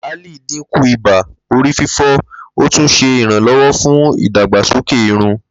Laali dinku iba, orififo, o tun ṣe iranlọwọ fun idagbasoke irun.